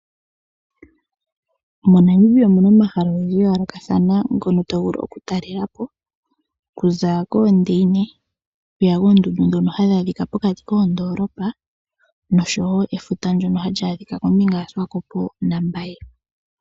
MoNamibia omu na omahala ogendji ga yoolokathana ngono to vulu okutalela po okuza koondeina okuya koondundu ndhono hadhi adhika pokati koondoolopa noshowo efuta ndyono hali adhika kombinga yaSuwakopo naMbaye.